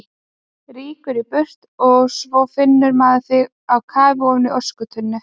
Rýkur í burtu og svo finnur maður þig á kafi ofan í öskutunnu!